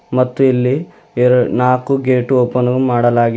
ಮತ್ತು ಇಲ್ಲಿ ಎರಡ್ ನಾಲ್ಕು ಗೇಟ್ ಓಪನ್ ಮಾಡಲಾಗಿ--